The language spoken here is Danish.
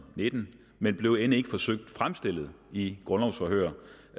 nitten men blev end ikke forsøgt fremstillet i et grundlovsforhør